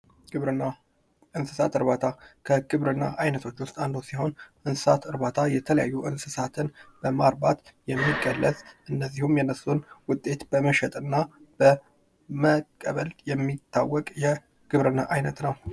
ግብርና፡ እንሰሳት እርባታ፦ ከግብርና አይነቶች ዉስጥ አንዱ ሲሆን እንሰሳት እርባታ የተለያዩ እንሰሳትን በማርባት የሚገለጽ እንደዚሁም የነሱን ዉጤት በመሸጥና በመለወጥ የሚታወቅ የግብርና አይነት ነው።